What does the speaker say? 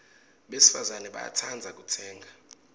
besifazane bayatsandza kutsenga